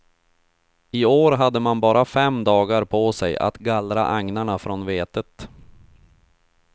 I år hade man bara fem dagar på sig att gallra agnarna från vetet.